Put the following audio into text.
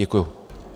Děkuji.